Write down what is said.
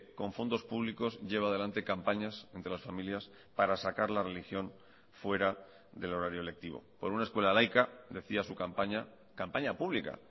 con fondos públicos lleva a delante campañas entre las familias para sacar la religión fuera del horario lectivo por una escuela laica decía su campaña campaña pública